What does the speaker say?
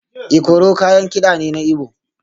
Ikoro kayan kida ne na Igbo